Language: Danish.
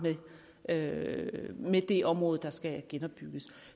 med med det område der skal genopbygges